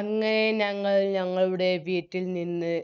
അങ്ങേ ഞങ്ങൾ ഞങ്ങളുടെ വീട്ടിൽ നിന്ന്